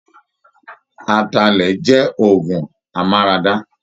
Ataalẹ̀ jẹ́ òọgùn amáradá.